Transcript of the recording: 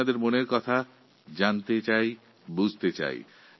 আমি আপনাদের মনের কথা জানতে ও বুঝতে চাই